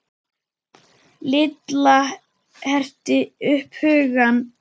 Lilla herti upp hugann.